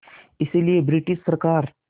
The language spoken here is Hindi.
इसलिए ब्रिटिश सरकार